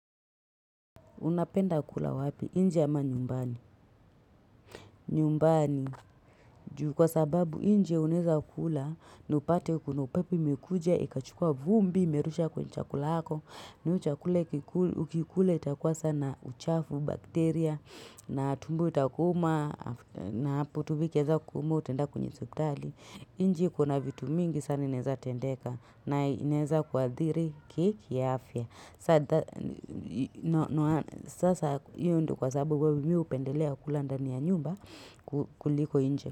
Unapenda kula wapi, inje ama nyumbani. Nyumbani, kwa sababu inje uneza kula, na upate kuno pepi mikuja, ikachukua vumbi, merusha kwenye chakula hako, nje chakula ukikule itakuwa sana uchafu, bakteria, na tumbo itakuma, na hapo tumo ikianza kukuuma utenda kwenye hosipitali inje kuna vitu mingi sana ineza tendeka, na ineza kwa adhiri ki ya afya. Sasa yu ndo kwa sababu mimi hupendelea kula ndani ya nyumba kuliko inje.